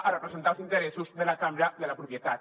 a representar els interessos de la cambra de la propietat